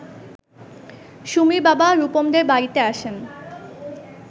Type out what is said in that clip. সুমির বাবা রুপমদের বাড়িতে আসেন